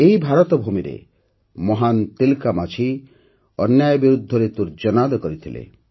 ଏହି ଭାରତଭୂମିରେ ମହାନ ତିଲକା ମାଝୀ ଅନ୍ୟାୟ ବିରୋଧରେ ତୂର୍ଯ୍ୟନାଦ କରିଥିଲେ